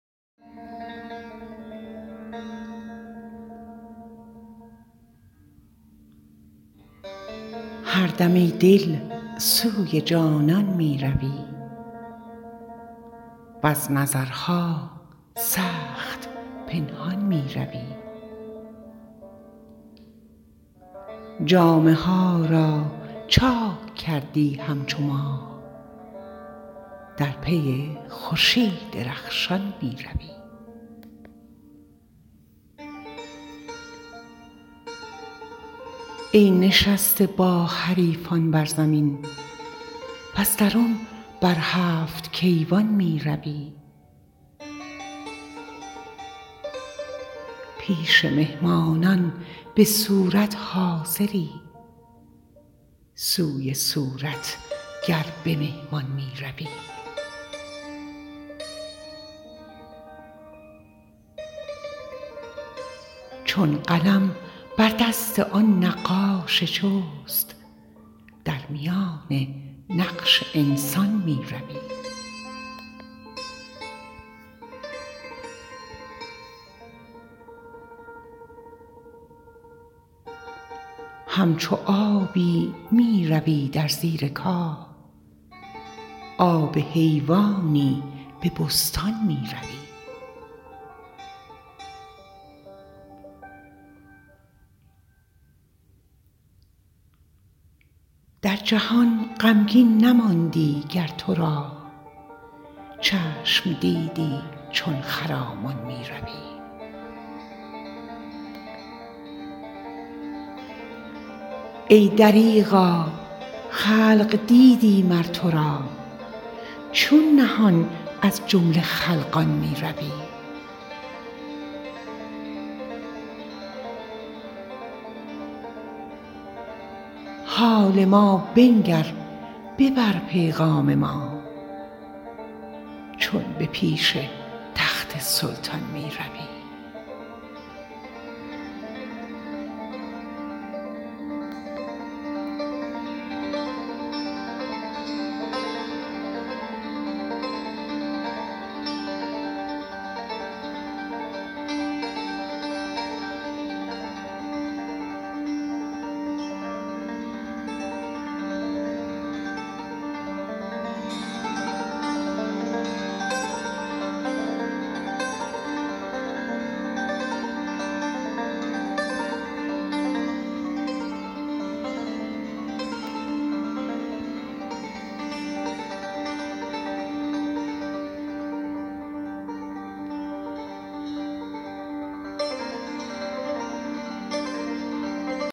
هر دم ای دل سوی جانان می روی وز نظرها سخت پنهان می روی جامه ها را چاک کردی همچو ماه در پی خورشید رخشان می روی ای نشسته با حریفان بر زمین وز درون بر هفت کیوان می روی پیش مهمانان به صورت حاضری سوی صورتگر به مهمان می روی چون قلم بر دست آن نقاش چست در میان نقش انسان می روی همچو آبی می روی در زیر کاه آب حیوانی به بستان می روی در جهان غمگین نماندی گر تو را چشم دیدی چون خرامان می روی ای دریغا خلق دیدی مر تو را چون نهان از جمله خلقان می روی حال ما بنگر ببر پیغام ما چون به پیش تخت سلطان می روی